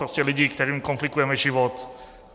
Prostě lidi, kterým komplikujeme život.